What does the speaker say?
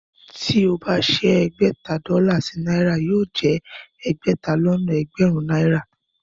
Tí ó bá ṣẹ́ ẹgbẹ̀ta dọ́là sí náírà yóò jẹ ẹgbẹ̀ta lọ́nà ẹgbẹ̀rún náírà